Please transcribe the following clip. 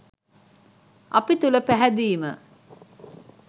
අපි තුළ පැහැදීම